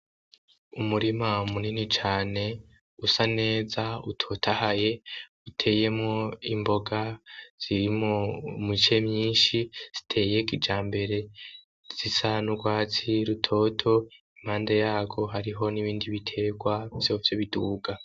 Umurima munini cane usa neza utotahaye uteyemwo imboga zirimo muce myinshi ziteyeka ija mbere zisanurwazi rutoto impande yago hariho n'ibindi biterwa vyovyo biduga.